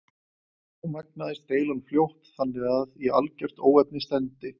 Þá magnaðist deilan fljótt þannig að í algert óefni stefndi.